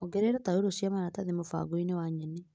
Ongerera tauro cia maratathi mũbango-inĩ wa nyeni.